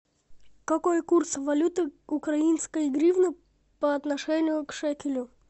какой курс валюты украинской гривны по отношению к шекелю